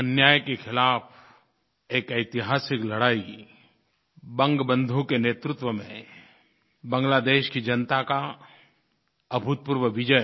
अन्याय के ख़िलाफ़ एक ऐतिहासिक लड़ाई बंगबन्धु के नेतृत्व में बांग्लादेश की जनता की अभूतपूर्व विजय